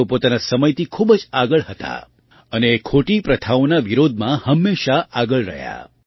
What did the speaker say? તેઓ પોતાના સમયથી ખૂબ જ આગળ હતાં અને એ ખોટી પ્રથાઓના વિરોધમાં હંમેશાં આગળ રહ્યાં